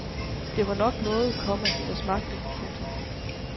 Det var nok noget, komma der smagte. punktum